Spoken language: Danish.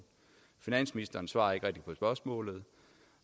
finansministeren svarer ikke rigtig på spørgsmålet